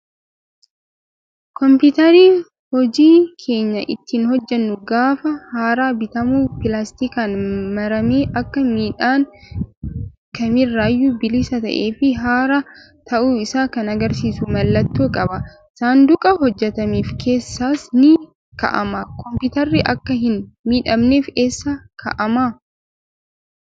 Kompiitarri hojii keenya ittiin hojjannu gaafa haaraa bitamu pilaastikaan maramee akka miidhaan kamirraayyuu bilisa ta'ee fi haaraa ta'uu isaa kan agarsiisu mallattoo qaba. Saanduqa hojjatameef keessas ni kaa'ama. Kompiitarri akka hin miidhamneef eessa kaa'amaa?